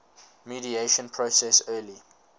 mediation process early